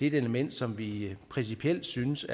et element som vi principielt synes